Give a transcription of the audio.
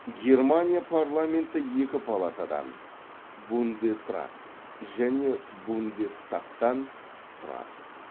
германия парламенті екі палатадан бундесрат және бундестагтан тұрады